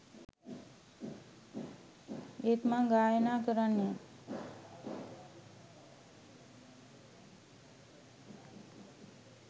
ඒත් මං ගායනා කරන්නෙ